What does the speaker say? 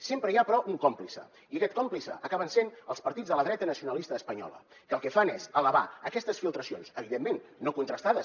sempre hi ha però un còmplice i aquest còmplice acaben sent els partits de la dreta nacionalista espanyola que el que fan és elevar aquestes filtracions evidentment no contrastades